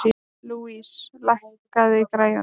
Louise, lækkaðu í græjunum.